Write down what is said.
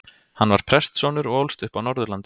Hann var prestssonur og ólst upp á Norðurlandi.